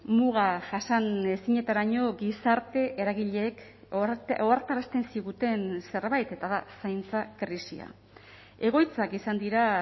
muga jasanezinetaraino gizarte eragileek ohartarazten ziguten zerbait eta da zaintza krisia egoitzak izan dira